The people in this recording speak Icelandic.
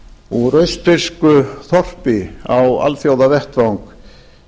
úr austfirsku þorpi á alþjóðavettvang